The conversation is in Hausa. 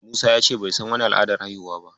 Musa ya ce bai san wani al'adar haihuwa ba.